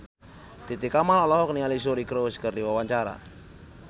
Titi Kamal olohok ningali Suri Cruise keur diwawancara